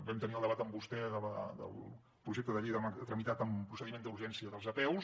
vam tenir el debat amb vostè del projecte de llei tramitat en procediment d’urgència de les apeus